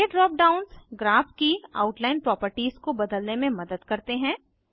ये drop downs graph की outline properties को बदलने में मदद करते हैं